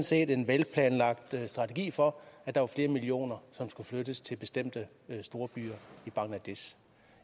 set en velplanlagt strategi for at der var flere millioner som skulle flyttes til bestemte storbyer i bangladesh